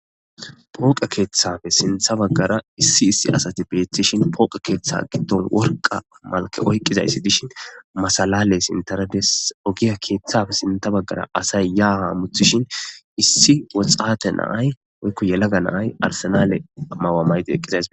Pooqe keethappe sinthe bagara issi issi asati betishn pooqe keethay gidon worqa Mala oykidays dishn masalaley sinthara Des,ogiye kethappe sinthe bagara asay ya ha hamutishn issi woxate na'ay woyko yelaga na'ay arsenal may'uwa mayidi eqidays betes.